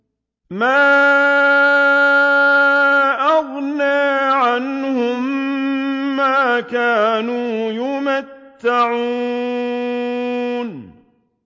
مَا أَغْنَىٰ عَنْهُم مَّا كَانُوا يُمَتَّعُونَ